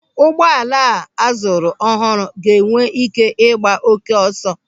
Ụgbọala a zụrụ ọhụrụ ga-enwe ị́ké ịgba oké ọsọ.